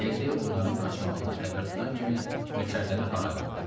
Leqri onların qaçmağından xəbər tutan kimi nökərləri harayladı.